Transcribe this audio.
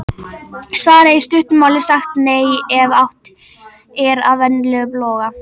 Svarið er í stuttu máli sagt NEI ef átt er við venjulegan loga.